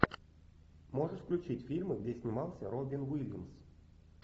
можешь включить фильмы где снимался робин уильямс